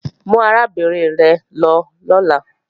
Mú arábìnrin rẹ̀ lọ lọ́la!